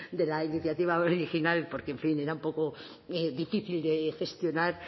de la iniciativa original porque en fin era un poco difícil de gestionar